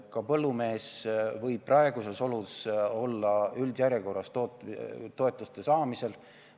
Ka põllumees võib praegustes oludes olla üldjärjekorras toetuste saamisel.